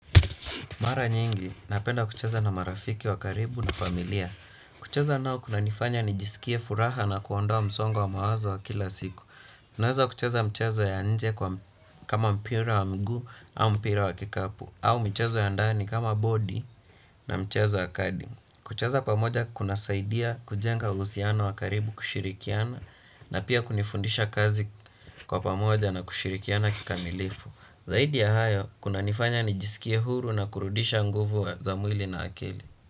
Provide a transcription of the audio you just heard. Mara nyingi, napenda kucheza na marafiki wakaribu na familia. Kucheza nao kuna nifanya nijisikie furaha na kuondowa msongo wa mawazo wa kila siku. Naweza kucheza mchezo ya nje kama mpira wa mguu, au mpira wa kikapu. Au mchezo ya ndani kama bodi na mchezo ya kadi. Kucheza pamoja kuna saidia kujenga uhusiano wakaribu kushirikiana na pia kunifundisha kazi kwa pamoja na kushirikiana kikamilifu. Zaidi ya hayo, kuna nifanya nijisikie huru na kurudisha nguvu za mwili na akili.